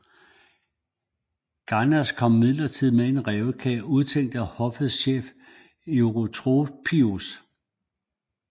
Gainas kom imidlertid med i en rævekage udtænkt af hoffets chef Eutropius